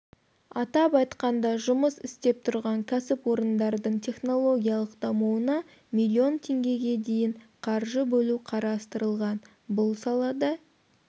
атап айтқанда жұмыс істеп тұрған кәсіпорындардың технологиялық дамуына миллион теңгеге дейін қаржы бөлу қарастырылған бұл салада